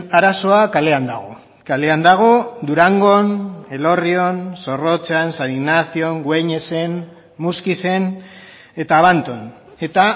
arazoa kalean dago kalean dago durangon elorrion zorrotzan san ignacion gueñesen muskizen eta abanton eta